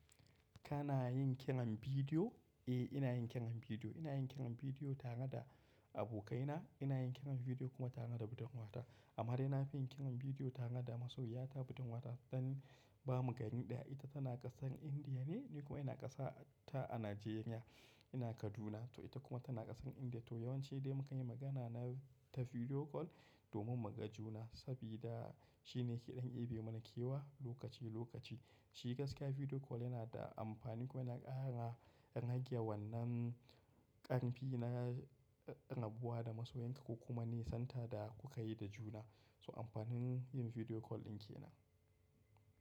Kana yin kiran bidiyo? Eh, ina yin kiran bidiyo. Ina yin kiran bidiyo tare da abokaina, ina yin kiran bidiyo kuma tare da budin wata. Amma dai na fi yin kiran bidiyo tare da masoya ta budin wata dan ba mu gani daya. Ita tana ƙasar Indiya ne, ni kuma ina ƙasa ta a Najeriya. Ina Kaduna, to ita kuma tana ƙasar Indiya. To yawancin dai muke yin magana na ta bidiyo kol domin mu ga juna. Sabida shi ne ke ɗan yabe mana kewa lokaci lokaci. Shi gaskiya bidiyo kol yana da amfani kuma yana ƙara ƙangiyar wannan ƙarfi na raba da masoyinka kuma nisantar da ku kayi da juna. So amfanin yin bidiyo kol dinki na.